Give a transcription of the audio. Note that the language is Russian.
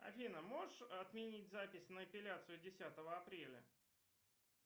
афина можешь отменить запись на эпиляцию десятого апреля